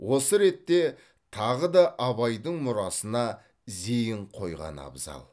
осы ретте тағы да абайдың мұрасына зейін қойған абзал